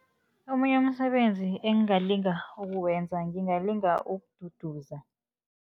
Omunye umsebenzi engingalinga ukuwenza, ngingalinga ukududuza.